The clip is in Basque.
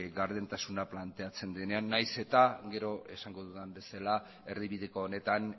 gardentasuna planteatzen denean nahiz eta gero esango dudan bezala erdibideko honetan